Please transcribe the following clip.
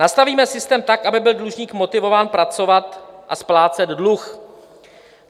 "Nastavíme systém tak, aby byl dlužník motivován pracovat a splácet dluh.